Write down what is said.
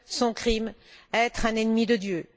Son crime être un ennemi de Dieu.